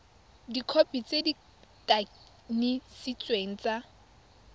dikhopi tse di kanisitsweng tsa